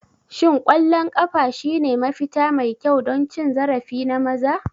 Shin ƙwallon ƙafa shine mafita mai kyau don cin zarafi na maza?